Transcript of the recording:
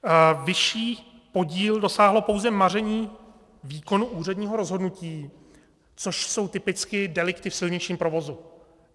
Vyšší podíl dosáhlo pouze maření výkonu úředního rozhodnutí, což jsou typicky delikty v silničním provozu.